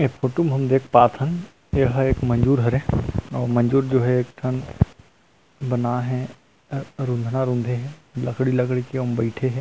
ए photo में हम देख पाथन यह एक मज़ूर हरे मज़ूर जो हे एक ठन बना है रुँधा रुँधे हे लकड़ी लड़की के तेम बईथे हे।